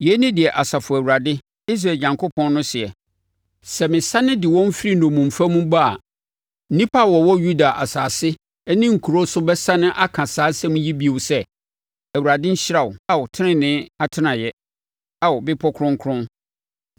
Yei ne deɛ Asafo Awurade, Israel Onyankopɔn no seɛ: “Sɛ mesane de wɔn firi nnommumfa mu ba a, nnipa a wɔwɔ Yuda asase ne nkuro so bɛsane aka saa nsɛm yi bio sɛ, ‘ Awurade nhyira wo, Ao, tenenee atenaeɛ, Ao, bepɔ kronkron.’